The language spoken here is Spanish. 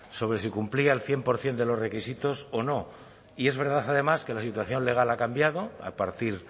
sobre si cumplía el cien por ciento de los requisitos o no y es verdad además que la situación legal ha cambiado a partir